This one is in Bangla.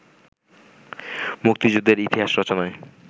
মুক্তিযুদ্ধের ইতিহাস রচনায়